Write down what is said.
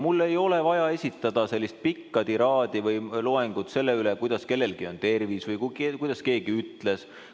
Mulle ei ole vaja esitada sellist pikka tiraadi või loengut sellest, kuidas kellelgi on tervis või kuidas keegi ütles.